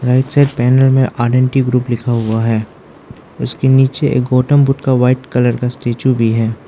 Right side panel में R and T group लिखा हुआ है उसके नीचे एक गौतम बुद्ध का वाइट कलर का स्टेचू भी है।